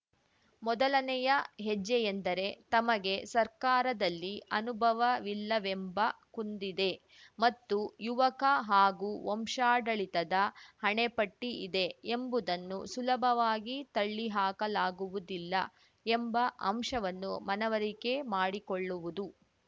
ಮೊದಲನೆಯ ಹೆಜ್ಜೆಯೆಂದರೆ ತಮಗೆ ಸರ್ಕಾರದಲ್ಲಿ ಅನುಭವವಿಲ್ಲವೆಂಬ ಕುಂದಿದೆ ಮತ್ತು ಯುವಕ ಹಾಗೂ ವಂಶಾಡಳಿತದ ಹಣೆಪಟ್ಟಿಇದೆ ಎಂಬುದನ್ನು ಸುಲಭವಾಗಿ ತಳ್ಳಿಹಾಕಲಾಗುವುದಿಲ್ಲ ಎಂಬ ಅಂಶವನ್ನು ಮನವರಿಕೆ ಮಾಡಿಕೊಳ್ಳುವುದು